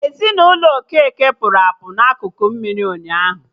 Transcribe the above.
Ezinụlọ Okeke pụrụ apụ na akụkụ mmiri ụnyaahụ